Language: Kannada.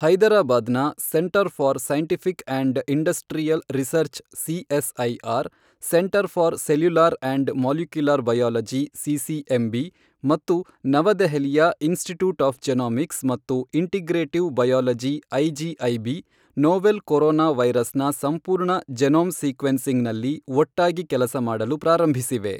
ಹೈದರಾಬಾದ್ ನ centre for scientific and industrial research CSIR centre for cellular and molecular biology CCMB ಮತ್ತು ನವದೆಹಲಿಯ ಇನ್ಸ್ಟಿಟ್ಯೂಟ್ ಆಫ್ ಜೆನೋಮಿಕ್ಸ್ ಮತ್ತು integrative biology IGIB novel corona virus ನ ಸಂಪೂರ್ಣ ಜೆನೋಮ್ ಸೀಕ್ವೆನ್ಸಿಂಗ್ ನಲ್ಲಿ ಒಟ್ಟಾಗಿ ಕೆಲಸ ಮಾಡಲು ಪ್ರಾರಂಭಿಸಿವೆ.